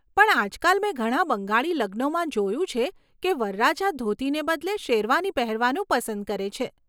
પણ, આજકાલ, મેં ઘણા બંગાળી લગ્નોમાં જોયું છે કે વરરાજા ધોતીને બદલે શેરવાની પહેરવાનું પસંદ કરે છે.